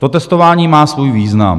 To testování má svůj význam.